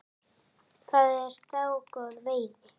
Það er dágóð veiði.